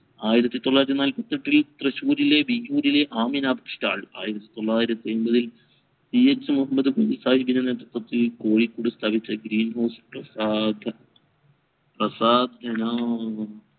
ആയിരത്തി തൊള്ളായിരത്തി നാലപ്പത്തി എട്ടിൽ തൃശൂരിലെ വിയ്യൂരിലെ ആമിന press stall ആയിരത്തിൽ തൊള്ളായിരത്തി എൺപതിൽ CH മുഹമ്മദ് കുഞ്ഞി സാഹിബ് നേതൃത്വത്തിൽ കോഴിക്കോട് green house